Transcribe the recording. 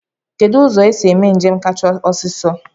Kedụ ụzọ esi eme njem kachasị ọsiisọ?